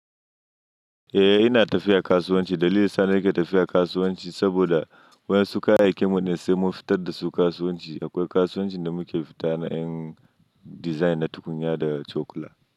Eh ina tafiya kasuwanci. Dalilin sa ni ke tafiya kasuwanci saboda wa yan su kayai ya kin mu ne sai mu fitar da su kasuwanci. Akwai kasuwancin da muke fita na yan design na tukunya da cokula.